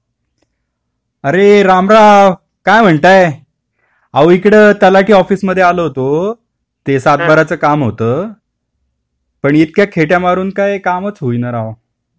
अरे राम राम काय म्हणतायत? ओ इकडे तलाठी ऑफिस मध्ये आलो होतो ते सातबारा च काम होत इतक्या खेट्या मारून काही कामच होईना राव